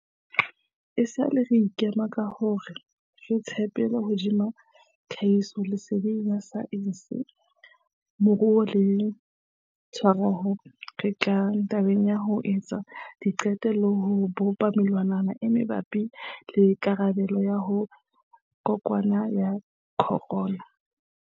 Esale re ikema ka hore re tshepetse hodima tlhahisoleseding ya saense, moruo le e tshwarehang ha re tla tabeng ya ho etsa diqeto le ho bopa melawana e mabapi le karabelo ho kokwanahloko ya corona.